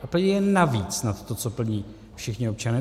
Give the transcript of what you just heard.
A plní je navíc, nad to, co plní všichni občané.